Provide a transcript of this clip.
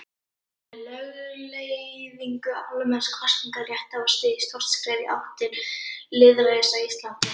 Með lögleiðingu almenns kosningaréttar var stigið stórt skref í átt til lýðræðis á Íslandi.